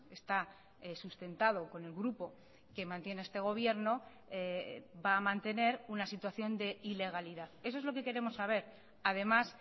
está sustentado con el grupo que mantiene este gobierno va a mantener una situación de ilegalidad eso es lo que queremos saber además